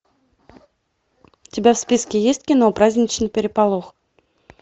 у тебя в списке есть кино праздничный переполох